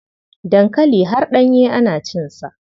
Dankali har ɗanye ana cinsa.